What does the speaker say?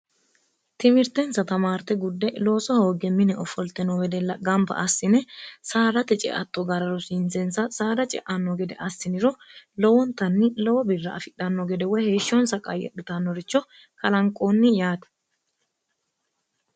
timirtensa tamaarte gudde looso hooge mine offolte no wedella gamba assine saarate ceatto gara rosiinseensa saada ce'anno gede assiniro lowontanni lowo birra afidhanno gede woy heeshshonsa qayyedhitannoricho kalanqoonni yaati